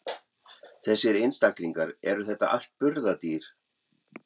Þessir einstaklingar, eru þetta allt burðardýr?